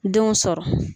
Denw sɔrɔ